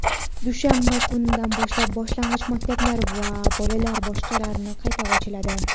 dushanba kunidan boshlab boshlang‘ich maktablar va bolalar bog‘chalari qayta ochiladi.